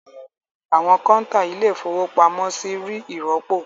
Àwọn kọ́ńtà Ilé-ìfowópamọ́sí rí ìrọ́pò.